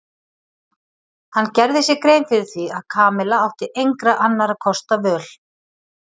Hann gerði sér grein fyrir því að Kamilla átti engra annarra kosta völ.